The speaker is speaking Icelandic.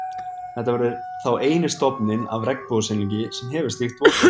Þetta verður þá eini stofninn af regnbogasilungi, sem hefur slíkt vottorð.